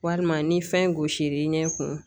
Walima ni fɛn gosl'i ɲɛ kun